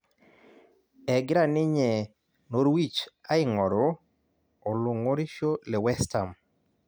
Egira ninye Norwich aing'oru olong'orisho le West Ham